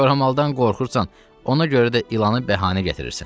Koramaldan qorxursan, ona görə də ilanı bəhanə gətirirsən.